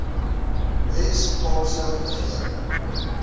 wes kaapse regering